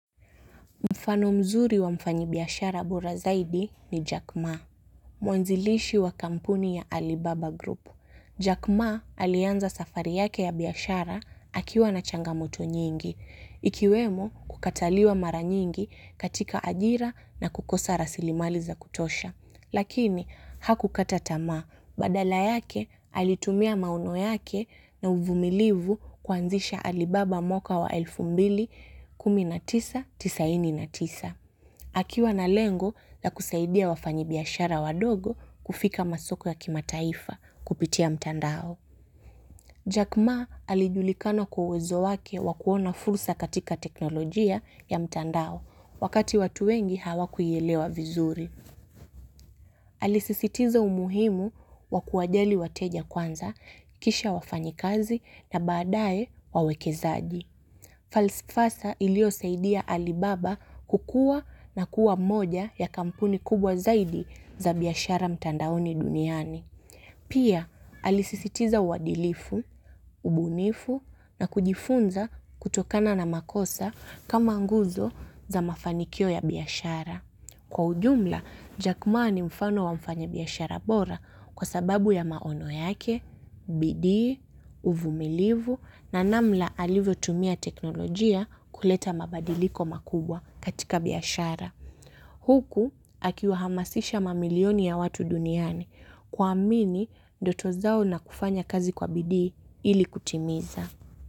Mfano mzuri wa mfanyi biashara bora zaidi ni Jack Ma. Mwanzilishi wa kampuni ya Alibaba Group. Jack Ma alianza safari yake ya biashara akiwa na changamoto nyingi. Ikiwemo kukataliwa mara nyingi katika ajira na kukosa rasilimali za kutosha. Lakini hakukata tamaa, badala yake alitumia maono yake na uvumilivu kuanzisha alibaba mwaka wa elfu mbili, kumi na tisa, tisaini na tisa. Akiwa na lengo la kusaidia wafanyi biashara wadogo kufika masoko ya kimataifa kupitia mtandao. Jack Ma alijulikana kwa uwezo wake wa kuona fursa katika teknolojia ya mtandao, wakati watu wengi hawakuielewa vizuri. Alisisitiza umuhimu wa kuwajali wateja kwanza kisha wafanyikazi na baadae wawekezaji. Falifasa ilio saidia alibaba kukua na kuwa moja ya kampuni kubwa zaidi za biashara mtandaoni duniani. Pia, alisisitiza uadilifu, ubunifu na kujifunza kutokana na makosa kama nguvu za mafanikio ya biashara. Kwa ujumla, Jack Maa ni mfano wa mfanya biashara bora kwa sababu ya maono yake, bidii, uvumilivu na namna alivyo tumia teknolojia kuleta mabadiliko makubwa katika biashara. Huku akiwahamasisha mamilioni ya watu duniani kuamini ndoto zao na kufanya kazi kwa bidii ili kutimiza.